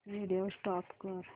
video stop कर